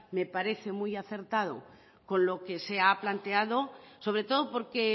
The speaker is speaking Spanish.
me parece muy acertado con lo que se ha planteado sobre todo porque